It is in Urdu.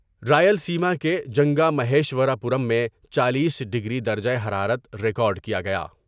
رائل سیما کے جنگامہیشورا پورم میں چالیس ڈگری درجہ حرارت ریکارڈ کیا گیا ۔